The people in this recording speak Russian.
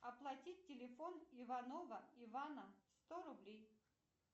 оплатить телефон иванова ивана сто рублей